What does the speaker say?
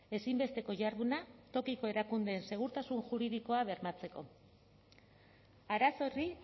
ezinbesteko jarduna tokiko erakundeen segurtasun juridikoa bermatzeko arazo horri